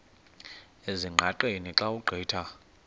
ezingqaqeni xa ugqitha